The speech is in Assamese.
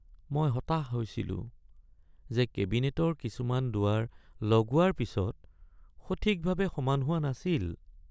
মই হতাশ হৈছিলো যে কেবিনেটৰ কিছুমান দুৱাৰ লগোৱাৰ পিছত সঠিকভাৱে সমান হোৱা নাছিল।